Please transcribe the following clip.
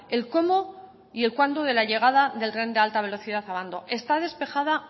el cómo y el cuándo de la llegada del tren de alta velocidad a abando está despejada